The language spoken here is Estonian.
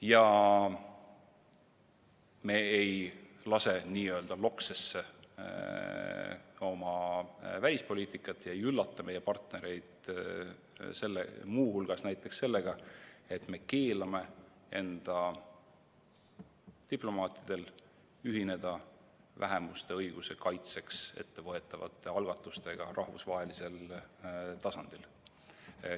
Ja me ei lase n-ö loksesse oma välispoliitikat ega üllata meie partnereid muu hulgas näiteks sellega, et me keelame enda diplomaatidel ühineda vähemuste õiguste kaitseks ettevõetavate algatustega rahvusvahelisel tasandil.